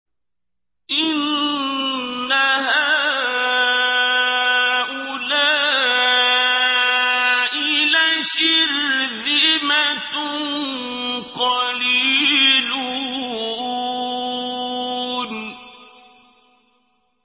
إِنَّ هَٰؤُلَاءِ لَشِرْذِمَةٌ قَلِيلُونَ